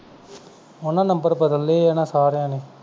ਉਹਨਾਂ ਨੇ number ਬਦਲ ਲਏ ਆ ਨਾ ਸਾਰਿਆਂ ਨੇ